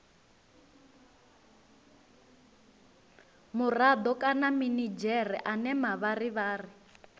murado kana minidzhere ane mavharivhari